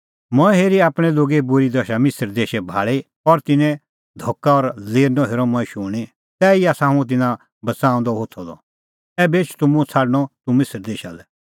मंऐं हेरी आपणैं लोगे बूरी दशा मिसर देशै भाल़ी और तिन्नें धका और लेरनअ हेरअ मंऐं शूणीं तैही आसा हुंह तिन्नां बच़ाऊंदअ होथअ द ऐबै एछ तूह मुंह छ़ाडणअ तूह मिसर देशा लै